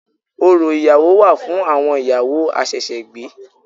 Orò ìyàwó wà fún àwon ìyàwó àsẹ̀sẹ̀gbé